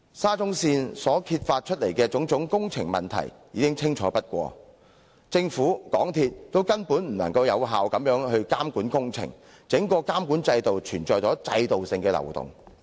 沙中線揭發的種種工程問題已充分反映，政府和港鐵公司根本無法有效監管工程，整個監管制度存在制度性的漏洞。